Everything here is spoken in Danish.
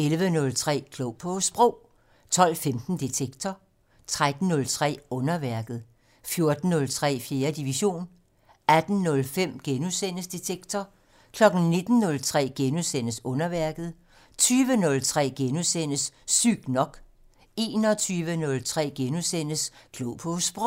11:03: Klog på Sprog 12:15: Detektor 13:03: Underværket 14:03: 4. division 18:05: Detektor * 19:03: Underværket * 20:03: Sygt nok * 21:03: Klog på Sprog *